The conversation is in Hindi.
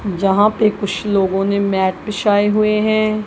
जहां पे कुछ लोगों ने मैट बिछाये हुए है।